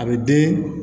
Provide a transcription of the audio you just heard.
A bɛ den